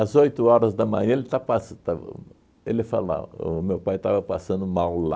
oito horas da manhã, ele está pas estava... Ele falava, o meu pai estava passando mal lá.